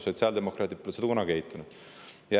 Sotsiaaldemokraadid pole seda kunagi eitanud.